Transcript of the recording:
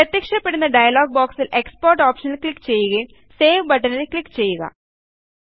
പ്രത്യക്ഷപ്പെടുന്ന ഡയലോഗ് ബോക്സിൽ എക്സ്പോർട്ട് ഓപ്ഷനിൽ ക്ലിക്ക് ചെയ്യുകയും സേവ് ബട്ടണിൽ ക്ലിക്ക് ചെയ്യുക